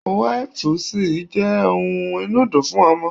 Wipes jẹ́ ohun inùdí fún ọmọ.